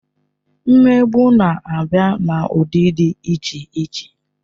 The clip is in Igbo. Mmegbu na-abịa n'ụdị dị iche iche.